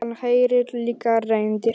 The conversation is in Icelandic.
Hann heyrir líka raddir.